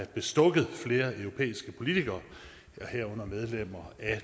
bestukket flere europæiske politikere herunder medlemmer af